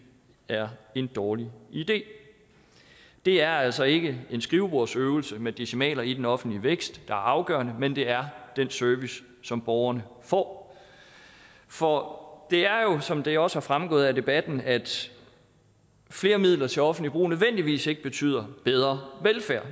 er en dårlig idé det er altså ikke en skrivebordsøvelse med decimaler i den offentlige vækst der er afgørende men det er den service som borgerne får for det er jo sådan som det også er fremgået af debatten at flere midler til offentligt forbrug nødvendigvis ikke betyder bedre velfærd